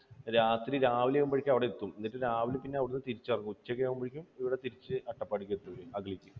രാത്രി, രാവിലെ ആകുമ്പോഴേക്കും അവിടെ എത്തും. പിന്നെ രാവിലെ അവിടെ നിന്ന് തിരിച്ച് ഇറങ്ങും. ഉച്ച ഉച്ച ആകുമ്പോഴേക്കും ഇവിടെ തിരിച്ച് അട്ടപ്പാടിക്ക് എത്തും അവർ, അഗളിക്ക്.